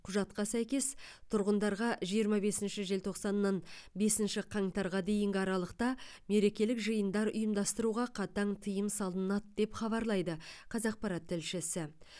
құжатқа сәйкес тұрғындарға жиырма бесінші желтоқсаннан бесінші қаңтарға дейінгі аралықта мерекелік жыйындар ұйымдастыруға қатаң тыйым салынады деп хабарлайды қазақпарат тілшісі